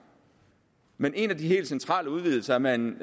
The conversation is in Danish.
men en af de helt centrale udvidelser er man